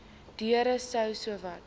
deure sou sowat